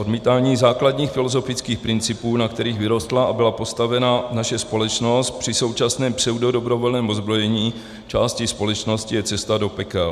Odmítání základních filozofických principů, na kterých vyrostla a byla postavena naše společnost, při současném pseudodobrovolném ozbrojení části společnosti, je cesta do pekel.